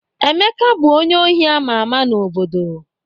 Emeka bụ onye ohi ama ama n'obodo